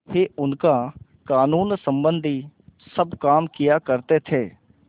ही उनका कानूनसम्बन्धी सब काम किया करते थे